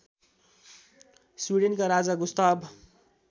स्विडेनका राजा गुस्ताव